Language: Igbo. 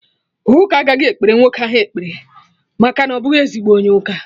Ụka agaghị ekpere nwoke ahụ ekpere maka na ọ bụghị ezigbo onye ụka